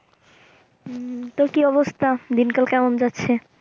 উম তো কি অবস্থা? দিনকাল কেমন যাচ্ছে?